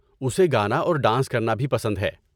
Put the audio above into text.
اسے گانا اور ڈانس کرنا بھی پسند ہے۔